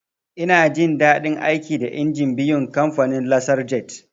Ina jin daɗin aiki da injin biyun kamfanin "Lasar jet"